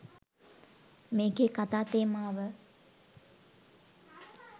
මේකේ කතා තේමාව.